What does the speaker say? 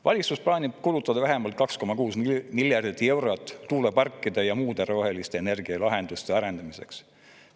Valitsus plaanib kulutada vähemalt 2,6 miljardit eurot tuuleparkide ja muude roheliste energialahenduste arendamiseks.